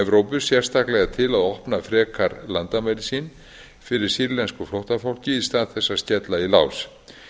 evrópu sérstaklega til að opna frekar landamæri sín fyrir sýrlensku flóttafólki í stað þess að skella í lás